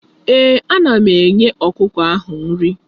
Ee, ana m enye ọkụkọ ahụ nri.